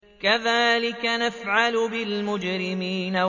كَذَٰلِكَ نَفْعَلُ بِالْمُجْرِمِينَ